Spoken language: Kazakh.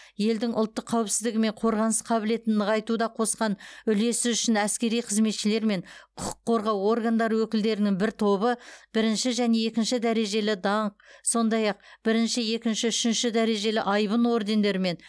елдің ұлттық қауіпсіздігі мен қорғаныс қабілетін нығайтуға қосқан үлесі үшін әскери қызметшілер мен құқық қорғау органдары өкілдерінің бір тобы бірінші және екінші дәрежелі даңқ сондай ақ бірінші екінші үшінші дәрежелі айбын ордендерімен